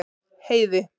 Heiði